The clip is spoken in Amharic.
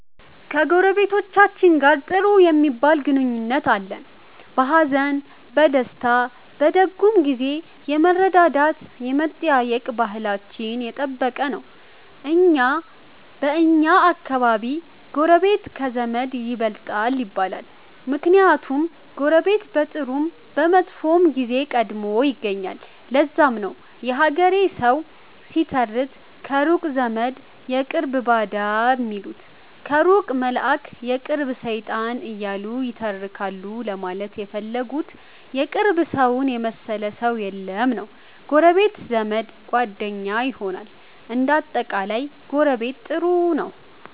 ከጎረቤቶቻችን ጋር ጥሩ ሚባል ግንኙነት አለን። በሀዘን፣ በደስታ፣ በደጉም ጊዜ የመረዳዳት የመጠያየቅ ባህላችን የጠበቀ ነው። በኛ አከባቢ ጎረቤት ከዘመድ ይበልጣል ይባላል። ምክንያቱም ጎረቤት በጥሩም በመጥፎም ጊዜ ቀድሞ ይገኛል። ለዛም ነው የሀገሬ ሠዉ ሲተርት ከሩቅ ዘመድ የቅርብ ባዳ ሚሉት ከሩቅ መላእክ የቅርብ ሠይጣን እያሉ ይተረካሉ ለማለት የፈለጉት የቅርብ ሠውን የመሠለ ሠው የለም ነዉ። ጎረቤት ዘመድ፣ ጓደኛ ይሆናል። እንደ አጠቃላይ ጎረቤት ጥሩ ነው።